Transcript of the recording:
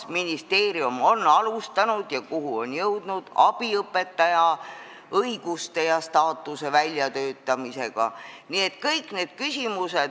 Kas ministeerium on alustanud abiõpetaja õiguste ja staatuse väljatöötamisega ja kui on, siis kuhumaani on jõutud?